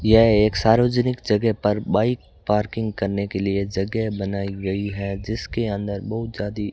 यह एक सार्वजनिक जगह पर बाइक पार्किंग करने के लिए जगह बनाई गई है जिसके अंदर बहुत जादी --